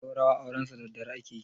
zaurawa aurensu daddare ake yi